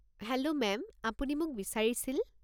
Hello ma'am, আপুনি মোক বিচাৰিছিল?